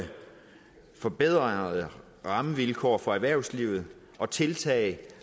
forbedrede rammevilkår for erhvervslivet og tiltag